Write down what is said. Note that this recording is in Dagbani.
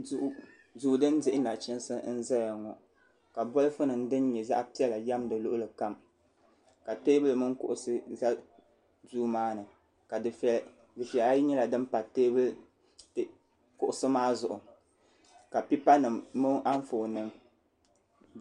Duu din dihi nachiinsi n ʒɛya ŋo ka bolfu nim din nyɛ zaɣ piɛla yɛm di luɣuli kam ka teebuli mini kuŋusi ʒɛ duu maa ni dufɛya ayi nyɛla din pa kuɣusi maa zuɣu ka pipa nim mini anfooni nim